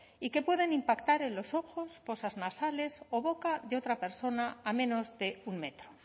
y que pueden impactar en los ojos fosas nasales o boca de otra persona a menos de un metro